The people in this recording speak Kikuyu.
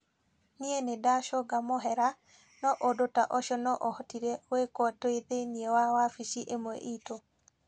Nĩ ndacũnga mũhera, no ũndũ ta ũcio no ũhotire gwĩkwo tu thĩinĩ wa wabici ĩmwe itũ.